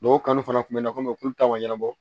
N'o kanu fana tun bɛ na komi olu ta ma ɲɛnabɔ